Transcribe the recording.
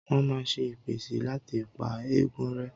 Wọ́́n máa ń ṣe ìpèsè láti pa ègún rẹ́.